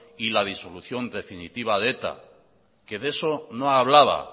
y la disolución definitiva de eta que de eso no hablaba